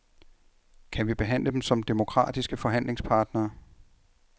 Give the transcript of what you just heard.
Kan vi behandle dem som demokratiske forhandlingspartnere.